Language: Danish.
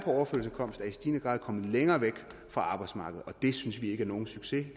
i stigende grad kommet længere væk fra arbejdsmarkedet og det synes vi ikke er nogen succes